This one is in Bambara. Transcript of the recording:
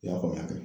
I y'a faamuya